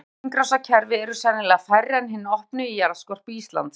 Lokuð hringrásarkerfi eru sennilega færri en hin opnu í jarðskorpu Íslands.